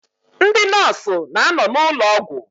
Ndị nọọsụ na-anọ n'ụlọ ụgwọ.